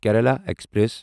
Kerala express